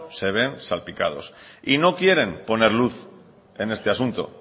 se ven salpicados y no quieren poner luz en este asunto